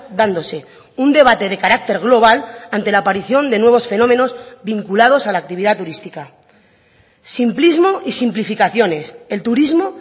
dándose un debate de carácter global ante la aparición de nuevos fenómenos vinculados a la actividad turística simplismo y simplificaciones el turismo